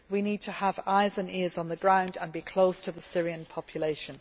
We need to have eyes and ears on the ground and to be close to the Syrian population.